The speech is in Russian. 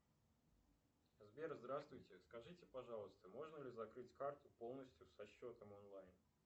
сбер здравствуйте скажите пожалуйста можно ли закрыть карту полностью со счетом онлайн